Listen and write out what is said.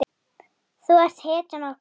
Þú ert hetjan okkar.